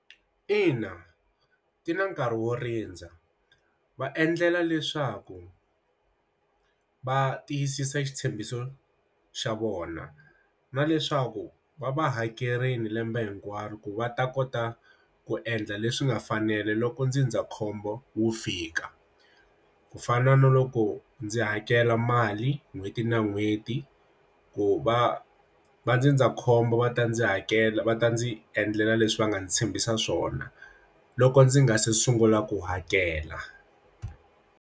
Ina, ti na nkarhi wo rindza va endlela leswaku va tiyisisa xitshembiso xa vona na leswaku va va hakerile lembe hinkwaro ku va ta kota ku endla leswi nga fanela loko ndzindzakhombo wu fika ku fana na loko ndzi hakela mali n'hweti na n'hweti ku va va ndzindzakhombo va ta ndzi hakela va ta ndzi endlela leswi va nga ndzi tshembisa swona loko ndzi nga se sungula ku hakela.